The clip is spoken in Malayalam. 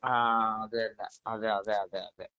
സ്പീക്കർ 2 ആ അത് തന്നെ അതെ അതെ അതെ